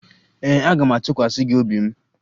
Ee, aga m atụkwasị gị obi m